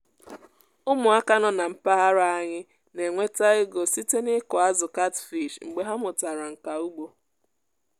ụmụaka nọ na mpaghara anyị na-enweta ego site n’ịkụ azụ catfish mgbe ha mụtara nka ugbo